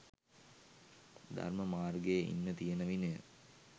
ධර්ම මාර්ගයේ ඉන්න තියෙන විනය